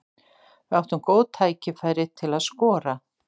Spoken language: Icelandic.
Við áttum góð tækifæri til að skora.